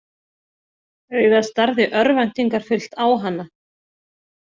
Augað starði örvæntingarfullt á hana.